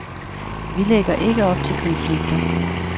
Vi lægger ikke op til konflikter.